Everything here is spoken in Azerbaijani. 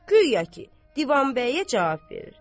Guya ki, Divanbəyə cavab verir.